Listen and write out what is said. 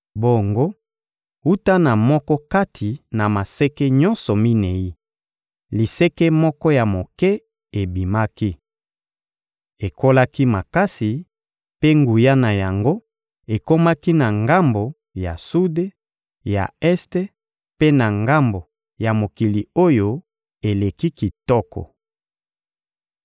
Bongo, wuta na moko kati na maseke nyonso minei, liseke moko ya moke ebimaki. Ekolaki makasi, mpe nguya na yango ekomaki na ngambo ya sude, ya este mpe na ngambo ya Mokili oyo eleki kitoko.